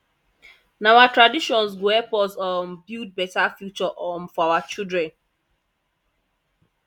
na our traditions go help us um build beta future um for our children